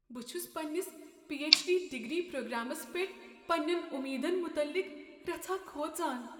بہٕ چھس پنٛنس پی ایچ ڈی پرٛوگرامس پیٹھ پننین امیدن متعلق رژھاہ کھوژان ۔